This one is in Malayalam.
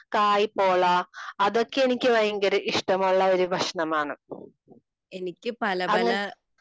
കായ്പോള അതൊക്കെ എനിക്ക് ഭയങ്കര ഇഷ്ടമുള്ള ഭക്ഷണമാണ് . അങ്ങന